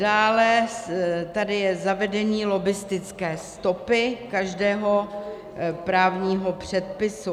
Dále tady je zavedení lobbistické stopy každého právního předpisu.